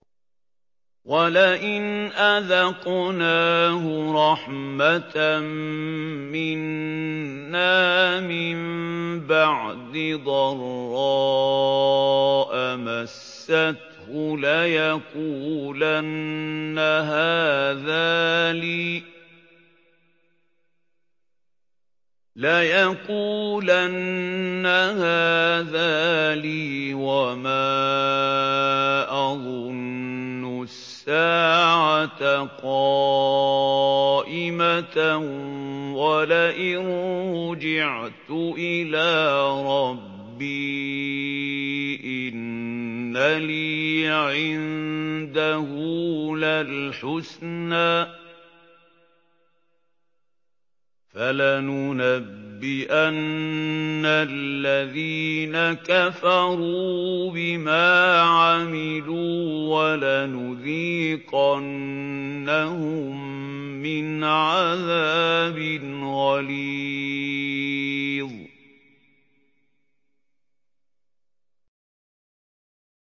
وَلَئِنْ أَذَقْنَاهُ رَحْمَةً مِّنَّا مِن بَعْدِ ضَرَّاءَ مَسَّتْهُ لَيَقُولَنَّ هَٰذَا لِي وَمَا أَظُنُّ السَّاعَةَ قَائِمَةً وَلَئِن رُّجِعْتُ إِلَىٰ رَبِّي إِنَّ لِي عِندَهُ لَلْحُسْنَىٰ ۚ فَلَنُنَبِّئَنَّ الَّذِينَ كَفَرُوا بِمَا عَمِلُوا وَلَنُذِيقَنَّهُم مِّنْ عَذَابٍ غَلِيظٍ